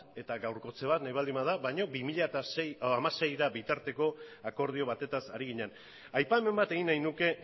eta gaurkotze bat nahi baldin bada baino bi mila hamaseira bitarteko akordio batez ari ginen aipamen bat egin nahi nuke